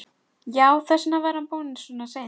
Já, þess vegna var hann búinn svona seint.